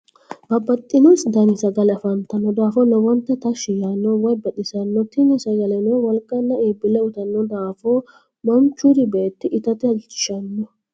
babaxino danni sagalle afantanno daafo lowonta tashi yaano woyi baxisanno tinni sagalleno woliqanna iibile uyiitanno daafo manichure beeto itate halichishanno.